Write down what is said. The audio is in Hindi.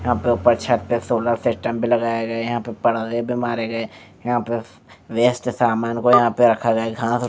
यहाँ पर ऊपर छत पर सोलर सिस्टम भी लगाए गए है यहाँ पर पलड़े भी मारे गए यहाँ पर वेस्ट सामान को रखा गया है खा तो--